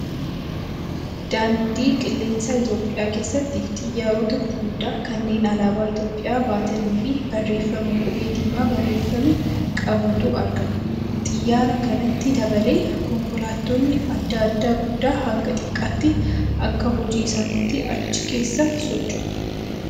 Daandii qilleensaa Itoophiyaa keessatti xiyaarota gurguddaa kanneen alaabaa Itoophiyaa baatanii fi barreeffama qubee diimaan barreeffame qabutu argama. Xiyyaara kanatti dabalee konkolaattonni adda addaa guddaa haga xiqqaatti akka hojii isaaniitti achi keessa socho'u.